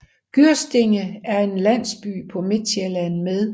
Gyrstinge er en landsby på Midtsjælland med